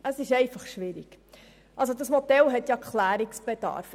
Es ist einfach schwierig und es besteht Klärungsbedarf.